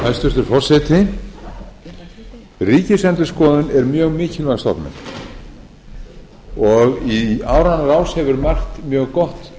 hæstvirtur forseti ríkisendurskoðun er mjög mikilvæg stofnun í áranna rás hefur margt mjög gott